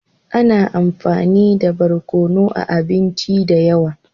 Ana amfani nmda barkonu a abinci da yawa.